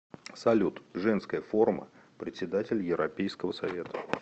салют женская форма председатель европейского совета